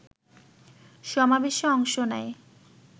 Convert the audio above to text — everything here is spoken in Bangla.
সমাবেশে অংশ নেয়